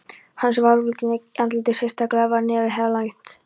Hann sárverkjaði í andlitið, sérstaklega var nefið helaumt.